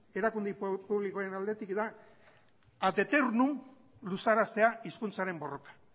erakunde publikoen aldetik da ad eternum luzaraztea hizkuntzaren borroka